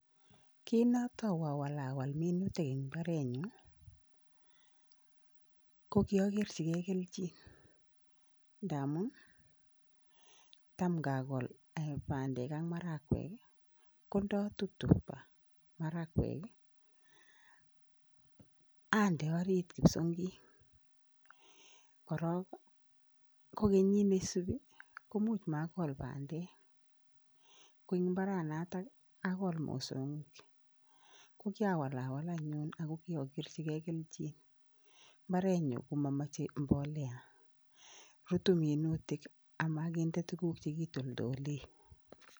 Kinatou awalwal minutik eng imbaarenyun kokiakerchikei kelchin ndamuun tam ngakol bandek ak marakwek ko ndatuptup marakwek ande ariit kipsongik arok kenyit ne isuupi komuch komakol bandek, ko eng imbaaranoto akol mosongik, ko kiawalwal anyuun ako kiakerchikei kelchin. Imbaarenyun komamachei mboleak ,rutu minutik ak makinde tuguk che kitoldole.